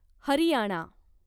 Haryana